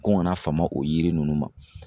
Ko n kana fama o yiri nunnu ma